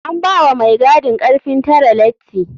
An bawa mai gadin karfin tare lati.